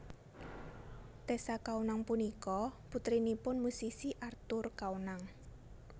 Tessa Kaunang punika putrinipun musisi Arthur Kaunang